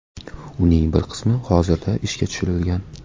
Uning bir qismi hozirda ishga tushirilgan.